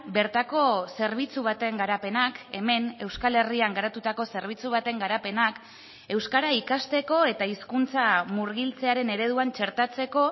bertako zerbitzu baten garapenak hemen euskal herrian garatutako zerbitzu baten garapenak euskara ikasteko eta hizkuntza murgiltzearen ereduan txertatzeko